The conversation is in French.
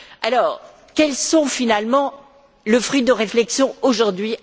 Alors quel est, finalement, le fruit de ces réflexions, aujourd'hui?